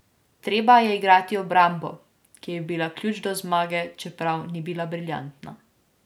Treba je igrati obrambo, ki je bila ključ do zmage, čeprav ni bila briljantna.